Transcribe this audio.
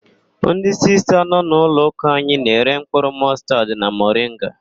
Ndị Sista nọ n'ụlọụka anyị na-ere mkpụrụ mọstaad na moringa.